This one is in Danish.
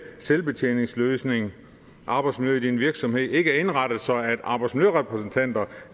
selvbetjeningsløsning og arbejdsmiljøet i en virksomhed ikke er indrettet sådan at arbejdsmiljørepræsentanterne